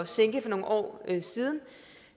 sænke for nogle år siden